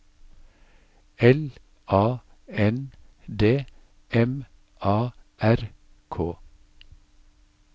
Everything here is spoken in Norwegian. L A N D M A R K